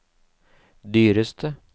dyreste